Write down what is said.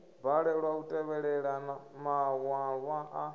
balelwa u tevhelela maṅwalwa a